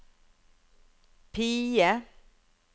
PIE